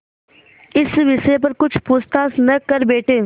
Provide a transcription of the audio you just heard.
इस विषय पर कुछ पूछताछ न कर बैठें